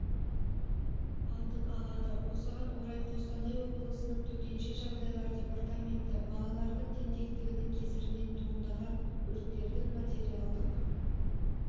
алдын алады осыған орай қостанай облысының төтенше жағдайлар департаменті балалардың тентектігінің кесірінен туындаған өрттердің материалдық